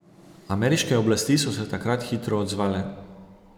Ameriške oblasti so se takrat hitro odzvale.